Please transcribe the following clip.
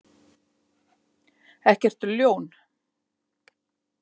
Ekkert ljón.